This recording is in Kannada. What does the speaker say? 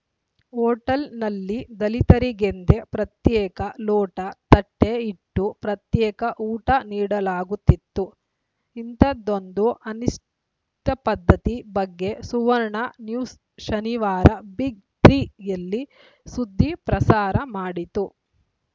ಹೋಟೆಲ್‌ನಲ್ಲಿ ದಲಿತರಿಗೆಂದೇ ಪ್ರತ್ಯೇಕ ಲೋಟ ತಟ್ಟೆಇಟ್ಟು ಪ್ರತ್ಯೇಕ ಊಟ ನೀಡಲಾಗುತ್ತಿತ್ತು ಇಂಥದೊಂದು ಅನಿಷ್ಟಪದ್ಧತಿ ಬಗ್ಗೆ ಸುವರ್ಣ ನ್ಯೂಸ್‌ ಶನಿವಾರ ಬಿಗ್‌ತ್ರೀ ಯಲ್ಲಿ ಸುದ್ದಿ ಪ್ರಸಾರ ಮಾಡಿತ್ತು